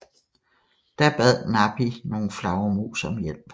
Da bad Napi nogle flagermus om hjælp